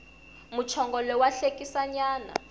muchongolo wa hlekisa nyana